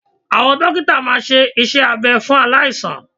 Awọn dókítà máa ṣe iṣẹ́ abẹ fún aláìsàn